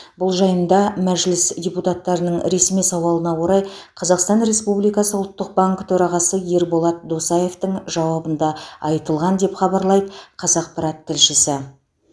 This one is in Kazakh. бұл жайында мәжіліс депутаттарының ресми сауалына орай қазақстан республикасы ұлттық банкі төрағасы ерболат досаевтың жауабында айтылған деп хабарлайды қазақпарат тілшісі